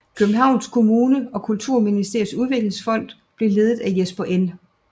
Københavns Kommune og Kulturministeriets Udviklingsfond og blev ledet af Jesper N